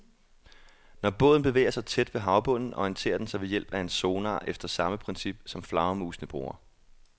Når båden bevæger sig tæt ved havbunden, orienterer den sig ved hjælp af en sonar efter samme princip, som flagermusene bruger.